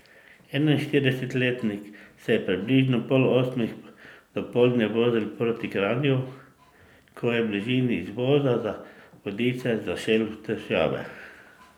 Enainštiridesetletnik je ob približno pol osmih dopoldne vozil proti Kranju, ko je v bližini izvoza za Vodice zašel v težave.